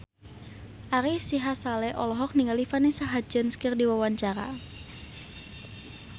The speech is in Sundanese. Ari Sihasale olohok ningali Vanessa Hudgens keur diwawancara